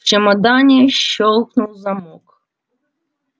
в чемодане щёлкнул замок